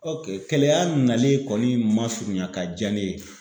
OK keleya nalen kɔni man surunya ka jaa ne ye.